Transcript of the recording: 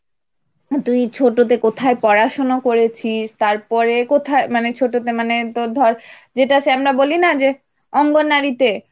তুই ছোটতে কোথায় পড়াশোনা করেছিস তারপরে কোথায় মানে ছোটতে মানে তোর ধর যেটা সে আমরা বলি না যে অঙ্গনারী তে